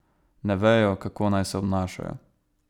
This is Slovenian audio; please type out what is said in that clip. Ne vejo, kako naj se obnašajo.